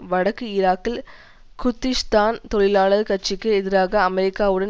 வடக்கு ஈராக்கில் குர்திஷ்தான் தொழிலாளர் கட்சிக்கு எதிராக அமெரிக்காவுடன்